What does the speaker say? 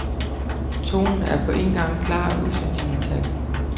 Tonen er på en gang klar og usentimental.